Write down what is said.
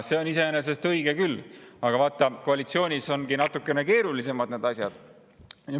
See on iseenesest õige küll, aga koalitsioonis on need asjad natukene keerulisemad.